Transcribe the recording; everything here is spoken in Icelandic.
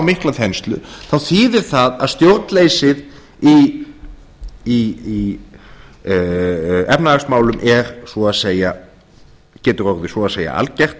mikla þenslu þá þýðir það að stjórnleysið í efnahagsmálum getur orðið svo að segja algert